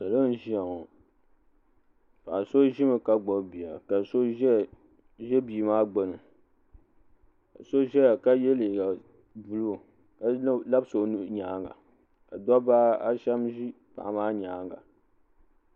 Salo n ʒia ŋɔ Paɣa so ʒimi ka gbibi bia ka so ʒɛ bia maa gbini ka so ʒɛya ka ye liiga buluu ka labisi o nuuhi nyaanga ka dabba ashem ʒi paɣa maa nyaanga.